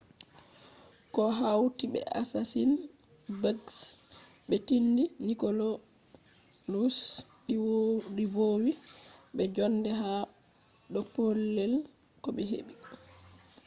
ko hauti be assasin-bugs be tenɗi nidicolous ɗi vowi be jonde ha do pellel ko ɓe heɓi